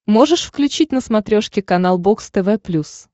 можешь включить на смотрешке канал бокс тв плюс